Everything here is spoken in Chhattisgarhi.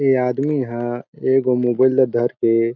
ए आदमी ह एगो मोबाइल धर के--